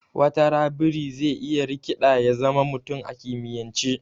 Watara biri zai iya rikiɗa ya zama mutum a kimiyance